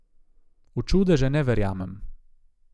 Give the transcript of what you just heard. V čudeže ne verjamem.